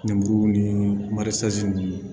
Lemuru ni marise ninnu